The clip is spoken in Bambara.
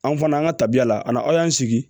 An fana an ka tabiya la an na aw y'an sigi